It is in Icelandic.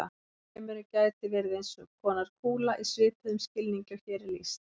Alheimurinn gæti verið eins konar kúla í svipuðum skilningi og hér er lýst.